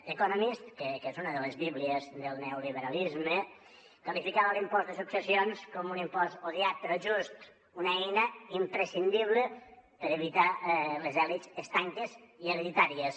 the economist que és una de les bíblies del neoliberalisme qualificava l’impost de successions com un impost odiat però just una eina imprescindible per evitar les elits estanques i hereditàries